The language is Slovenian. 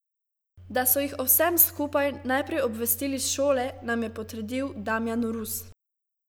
Da so jih o vsem skupaj najprej obvestili s šole, nam je potrdil Damjan Rus.